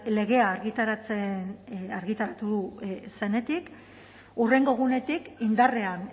legea argitaratu zenetik hurrengo egunetik indarrean